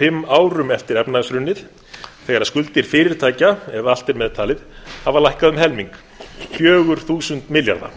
fimm árum eftir efnahagshrunið þegar skuldir fyrirtækja ef allt er meðtalið hafa lækkað um helming fjögur þúsund milljarða